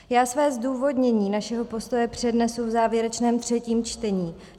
Já své zdůvodnění našeho postoje přednesu v závěrečném třetím čtení.